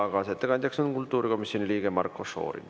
Kaasettekandja on kultuurikomisjoni liige Marko Šorin.